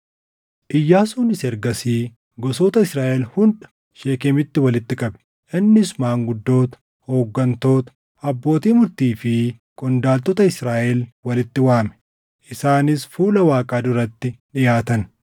Iyyaasuunis ergasii gosoota Israaʼel hunda Sheekemitti walitti qabe. Innis maanguddoota, hooggantoota, abbootii murtii fi qondaaltota Israaʼel walitti waame; isaanis fuula Waaqaa duratti dhiʼaatan.